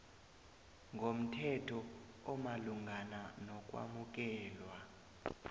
ngomthetho omalungana nokwamukelwa